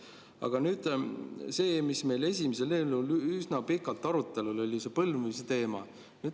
Aga nüüd sellest, mis meil esimesel üsna pikalt arutelu all oli: see põlvnemise teema.